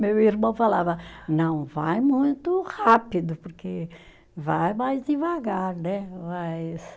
Meu irmão falava, não vai muito rápido, porque vai mais devagar, né? Mais